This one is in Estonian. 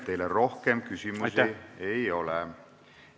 Teile rohkem küsimusi ei ole.